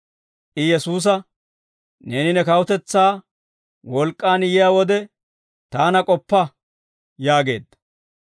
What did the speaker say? I Yesuusa, «Neeni ne kawutetsaa wolk'k'aan yiyaa wode, taana k'oppa» yaageedda.